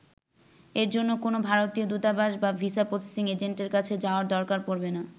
এর জন্য কোনও ভারতীয় দূতাবাস বা ভিসা প্রসেসিং এজেন্টের কাছে যাওয়ার দরকার পড়বে না।